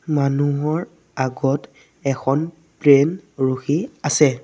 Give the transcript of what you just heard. মানুহৰ আগত এখন প্লেন ৰখি আছে।